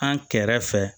An kɛrɛfɛ